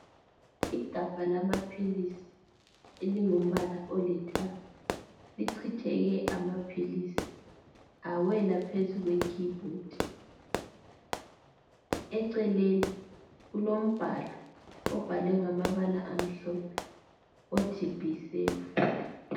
Igabha lamaphilisi elingumbala olithanga lichitheke amaphilisi awela phezu kwekey board eceleni kulombhalo obhalwe ngamabala omhlophe othi be safe.